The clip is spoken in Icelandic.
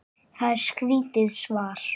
Það er skrítið svar.